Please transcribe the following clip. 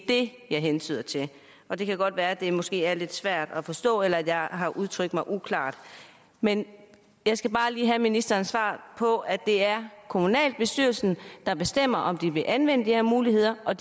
det jeg hentyder til og det kan godt være at det måske er lidt svært at forstå eller at jeg har udtrykt mig uklart men jeg skal bare lige have ministerens svar på at det er kommunalbestyrelsen der bestemmer om de vil anvende de her muligheder og